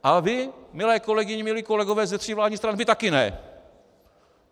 A vy, milé kolegyně, milí kolegové ze tří vládních stran, vy taky ne.